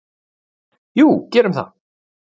"""Jú, gerðu það!"""